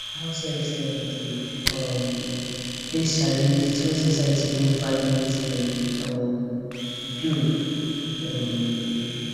househelps dem dey um face challenges when society no value wetin dem dey um do um